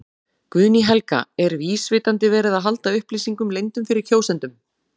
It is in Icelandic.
Guðný Helga: Er vísvitandi verið að halda upplýsingum leyndum fyrir kjósendum?